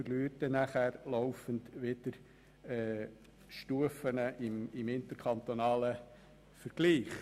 Man verliert dann wieder laufend Stufen im interkantonalen Vergleich.